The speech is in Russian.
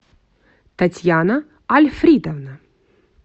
татьяна альфридовна